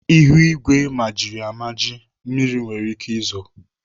Ihuigwe majiri amaji. Mmiri nwere ike izo.